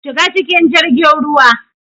Shiga cikin jirgin ruwa.